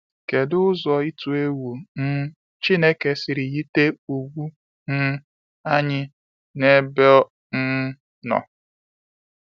Kedụ ụzọ itu egwu um Chineke siri yite ùgwù um anyị n'ebe ọ um nọ?